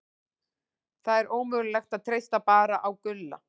Það er ómögulegt að treysta bara á Gulla.